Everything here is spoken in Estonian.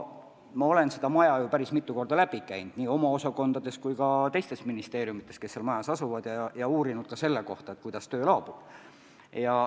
Ma olen selle maja ju päris mitu korda läbi kõndinud, käinud nii oma osakondades kui ka teistes ministeeriumides, kes seal majas asuvad, ja uurinud ka selle kohta, kuidas töö laabub.